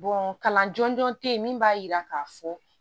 kalan jɔnjɔn te yen min b'a yira k'a fɔ